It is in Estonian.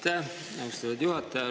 Aitäh, austatud juhataja!